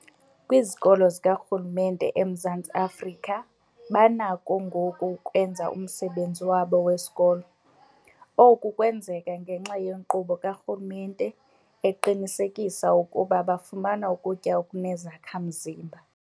Kwizikolo zikarhulumente eMzantsi Afrika banakho ngoku ukwenza umsebenzi wabo wesikolo. Oku kwenzeka ngenxa yenkqubo karhulumente eqinisekisa ukuba bafumana ukutya okunezakha-mzimba.